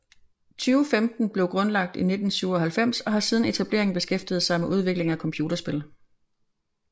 2015 blev grundlagt i 1997 og har siden etableringen beskæftiget sig med udvikling af computerspil